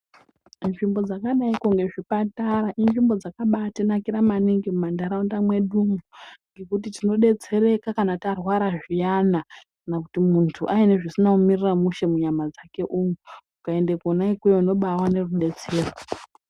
Nzvimbo dzakadaiko ngezvipatara inzvimbo dzakabatinakira maningi mumanharaunda mwedumwo. Ngekuti tinobetsereka kana tarwara zviyana, kana kuti muntu asina zvisina kumumirira mushe munyama dzake, ukaende kona ikweyo unombaone rubetsero.